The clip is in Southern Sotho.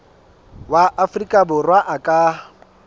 wa afrika borwa a ka